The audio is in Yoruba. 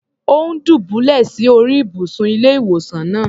Ò́ ń dùbúlẹ̀ sí orí ìbùsùn ilé-ìwòsàn náà.